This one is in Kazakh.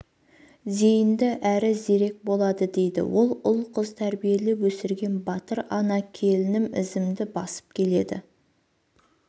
зейінді әрі зерек болады дейді ол ұл-қыз тәрбиелеп өсірген батыр ана келінім ізімді басып келеді